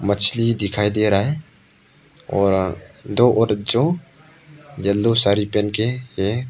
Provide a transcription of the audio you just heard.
मछली दिखाई दे रहा है और दो औरत जो एलो साड़ी पहन के है।